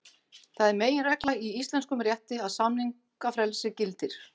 Það er meginregla í íslenskum rétti að samningafrelsi gildir.